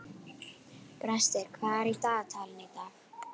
Brestir, hvað er í dagatalinu í dag?